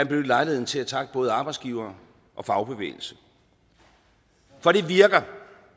benytte lejligheden til at takke både arbejdsgivere og fagbevægelse for det virker